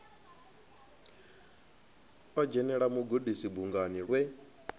o dzhenela mugudisi bungani lwe